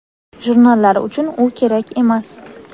jurnallar uchun u kerak emas.